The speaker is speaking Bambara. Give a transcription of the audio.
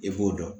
I b'o dɔn